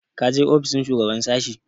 Ka je ofishin shugaban sashen?